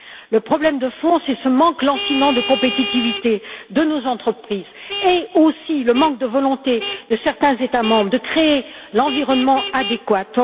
Le problème de fond, c'est ce manque lancinant de compétitivité de nos entreprises et aussi le manque de volonté de certains États membres de créer l'environnement adéquat.